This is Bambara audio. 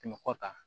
Kɛmɛ kɔ kan